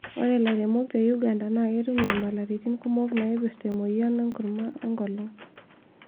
Ore lairemok te Uganda naa ketum nyamalaritin kumok naipirta emoyian oo nkurman oo enkolong